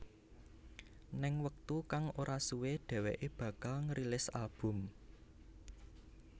Ning wektu kang ora suwe dheweké bakal ngerilis album